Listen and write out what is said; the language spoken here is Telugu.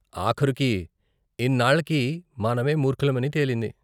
ఆఖరుకి ఇన్నాళ్లకి మనమే మూర్ఖులమని తేలింది.